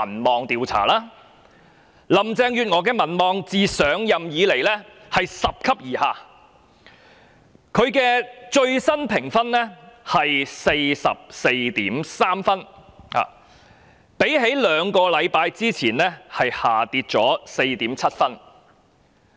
林鄭月娥的民望自上任以來拾級而下，其最新評分是 44.3 分，較兩星期前下跌了 4.7 分。